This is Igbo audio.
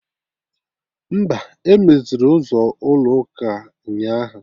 Mba, emeziri ụzọ ụlọ ụka ụnyaahụ